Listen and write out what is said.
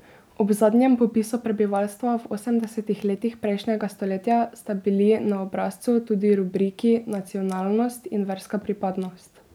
Ob zadnjem popisu prebivalstva v osemdesetih letih prejšnjega stoletja sta bili na obrazcu tudi rubriki nacionalnost in verska pripadnost.